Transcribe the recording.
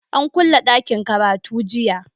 An kulle dakin karatu.